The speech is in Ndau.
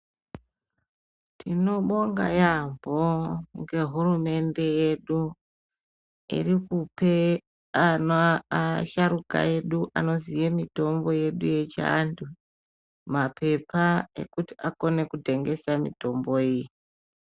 Tinobonga yambo ngehurumende yedu irikupe ana asharuka edu anoziye mitombo yedu yechiantu mapepa ekuti akone kutengesa mitombo iyi.